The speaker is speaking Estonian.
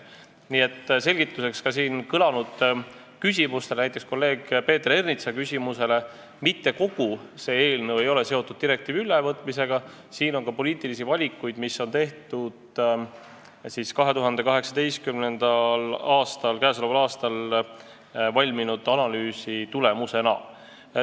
Nii et ütlen selgituseks ka siin kõlanud küsimuste, näiteks kolleeg Peeter Ernitsa küsimuse peale, et mitte kogu see eelnõu ei ole seotud direktiivi ülevõtmisega, siin on ka poliitilisi valikuid, mis on tehtud 2018. aastal valminud analüüsi tulemusena.